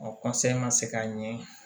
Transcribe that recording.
A ka se ka ɲɛ